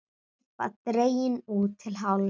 Skúffa dregin út til hálfs.